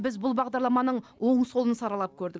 біз бұл бағдарламаның оң солын саралап көрдік